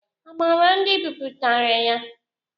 A maara ndị bipụtara ya?